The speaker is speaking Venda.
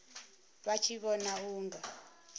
vha tshi vhona u nga